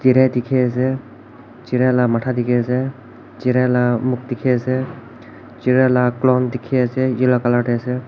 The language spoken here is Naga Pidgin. chiria dekhi ase chiria laga matha dekhi ase chiria laga muuf dekhi ase chiria laga clon dekhi ase yellow colour te ase.